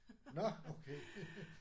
Nåh okay